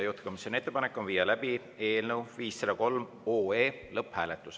Juhtivkomisjoni ettepanek on viia läbi eelnõu 503 lõpphääletus.